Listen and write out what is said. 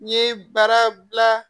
N ye bara gilan